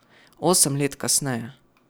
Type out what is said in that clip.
Osem let kasneje ...